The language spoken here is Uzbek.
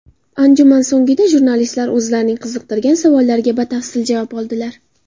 Anjuman so‘nggida jurnalistlar o‘zlarining qiziqtirgan savollariga batafsil javob oldilar.